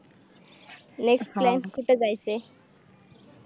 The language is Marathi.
next plan कुठ जायचंय